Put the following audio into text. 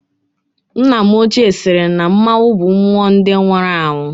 Nna m ochie sịrị na mmọnwụ bụ mmụọ ndị nwụrụ anwụ